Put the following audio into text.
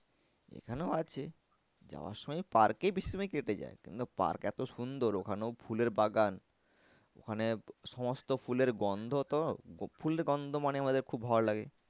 এখানেও আছে যাওয়ার সময় park এই বেশি সময় কেটে যায়। কিন্তু park এতো সুন্দর ওখানেও ফুলের বাগান ওখানে সমস্ত ফুলের গন্ধ তো ফুলের গন্ধ মানে আমাদের খুব ভালো লাগে